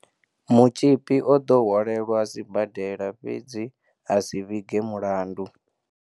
Mutzhipi o ḓo hwalelwa siba dela fhedzi a si vhige mulandu.